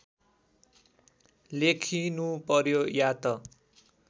लेखिनु पर्‍यो या त